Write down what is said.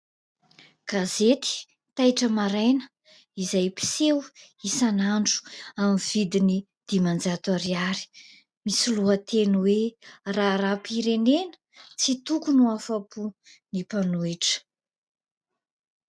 Gazety " Taitra Maraina" izay mpiseho isanandro amin'ny vidiny dimanjato ariary, misy lohateny hoe :" Raharaham-pirenena – Tsy tokony ho afa-po ny mpanohitra ".